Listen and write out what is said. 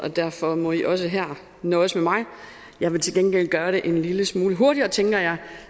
og derfor må i også her nøjes med mig jeg vil til gengæld gøre det en lille smule hurtigere tænker jeg